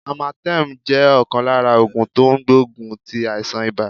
Amatem jẹ́ ọ̀kan lára ògùn tó n gbógun ti àìsàn ibà